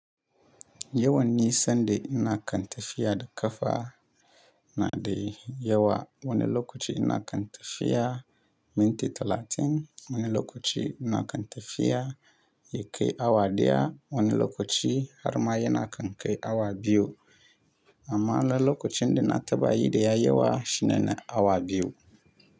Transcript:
Yawan nisan da ina kan tafiya da ƙafa na de yawa. Wani lokaci ina kan tafiya minti talatin, wani lokaci ina kan tafiya yakai awa ɗaya, wani lokaci har ma yana kan kai awa biyu. Amma alal lokacin da na taɓa yi da yayi yawa shine na awa biyu.